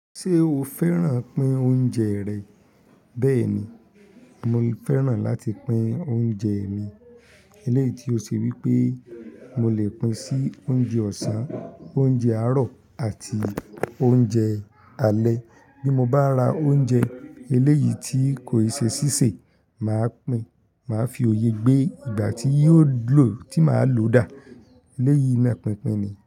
Ṣé o fẹ́ràn pín oúnjẹ rẹ? Bẹ́ẹ̀ ni, mo fẹ́ràn láti pín oúnjẹ mi. Eléyìí ti o ṣe wípé mo le pín sí oúnjẹ ọ̀sán, oúnjẹ àárọ̀ àti oúnjẹ alẹ́. Bí mo bá ra oúnjẹ eléyìí tí kò ṣe sísè, màá pín, màá fi òye gbé ìgbà tí yóò gbó tí màá lò dà. Eléyìí ni pínpín ni.